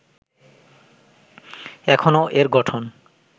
এখনও এর গঠন